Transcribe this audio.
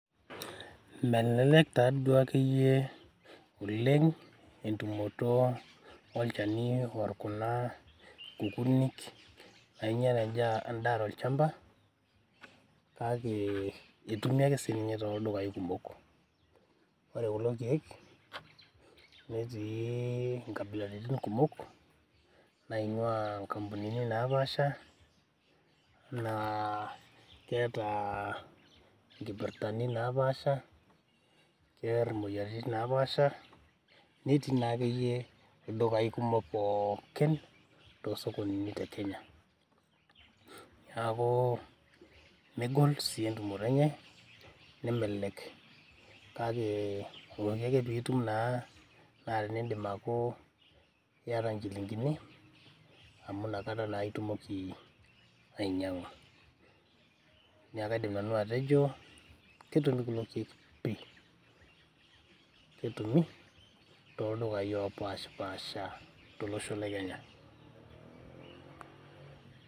Melelek taduo akeyie entumoto olchani orr kuna kukunik nainyial endaa tolchamba kake etumi ake sininye toldukai kumok ore kulo kiek netii inkabilaritin kumok naing'ua inkampunini napaasha naa keeta nkipirtani napaasha kerr imoyiaritin napaasha netii naa akeyie ildukai kumok pookin tosokonini te kenya niaku megol sii entumoto enye nemelelek kake pooki ake pitum naa, naa tinindim aaku iyata inchilingini amu inakata naa itumoki ainyiang'a niaku kaidim nanu atejo ketumi kulo kiek pii ketumi toldukai opashipasha tolosho le kenya.